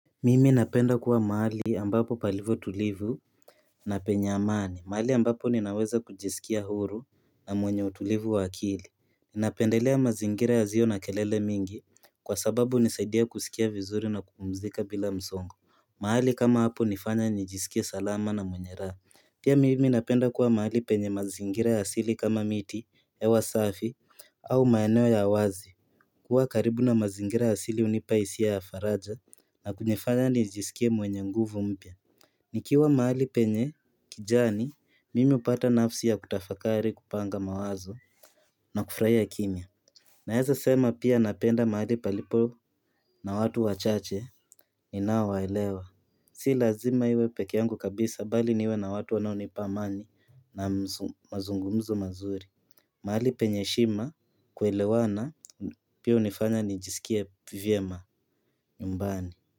Mimi napenda kuwa mahali ambapo palivyo tulivu na penye amani, mahali ambapo ninaweza kujisikia huru na mwenye utulivu wa akili. Ninapendelea mazingira yasio na kelele mingi, kwa sababu hunisaidia kusikia vizuri na kupumzika bila msongo. Mahali kama hapo hunifanya nijisikie salama na mwenye raha. Pia mimi napenda kuwa mahali penye mazingira ya asili kama miti, hewa safi, au maeneo ya wazi. Kuwa karibu na mazingira asili hunipa hisia ya faraja na kunifanya nijisikie mwenye nguvu mpya nikiwa mahali penye kijani mimi hupata nafsi ya kutafakari kupanga mawazo na kufurahia kimya. Naeza sema pia napenda mahali palipo na watu wachache ninaowaelewa. Si lazima iwe pekee yangu kabisa bali niwe na watu wanaonipa amani na mazungumzo mazuri mahali penye heshima, kuelewana pia hunifanya nijisikie vyema nyumbani.